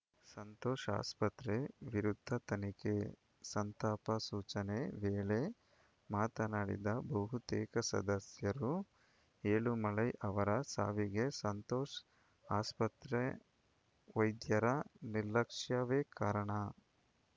ಸಂತೋಷ್‌ ಆಸ್ಪತ್ರೆ ವಿರುದ್ಧ ತನಿಖೆ ಸಂತಾಪ ಸೂಚನೆ ವೇಳೆ ಮಾತನಾಡಿದ ಬಹುತೇಕ ಸದಸ್ಯರು ಏಳುಮಲೈ ಅವರ ಸಾವಿಗೆ ಸಂತೋಷ್‌ ಆಸ್ಪತ್ರೆ ವೈದ್ಯರ ನಿರ್ಲಕ್ಷ್ಯವೇ ಕಾರಣ